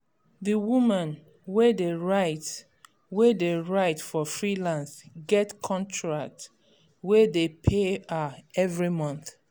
d woman wey dey write wey dey write for freelance get contract wey dey pay her every month